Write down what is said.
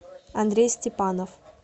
андрей степанов